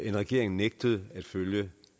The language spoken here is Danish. en regering nægtede at følge